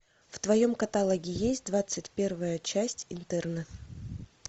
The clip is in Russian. в твоем каталоге есть двадцать первая часть интерны